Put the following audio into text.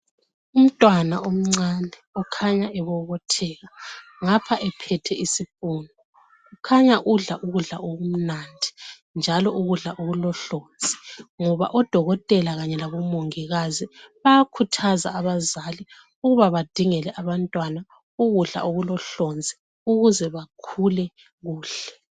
Umntwana omncane ukhanya ebobotheka ngapha udla isipunu njalo udla ukudla okulohlonzi ngoba odokotela bayakhuthaza abazali ukuthi badinge ukudla okulohlonzi ukuze bakhule kuhle.